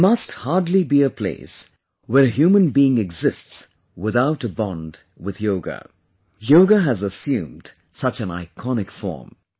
There must hardly be a place where a human being exists without a bond with Yoga; Yoga has assumed such an iconic form